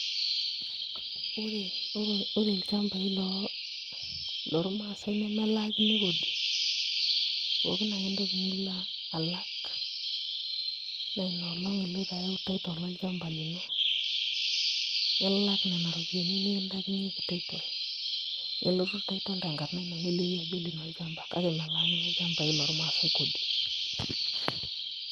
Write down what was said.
Ore ilchambai loormaasai nemelaakini kodi pookin ake entoki nilo alak naa ina olong' iloito ayau title olchamba lino nilak nena ropiyiani nikintaikinyieki title nelotu title tenkarna ino neliki ajo olino olchamba, kake melaakini ilchambai lormaasai kodi.